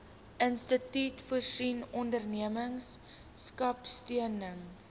instituut voorsien ondernemerskapsteun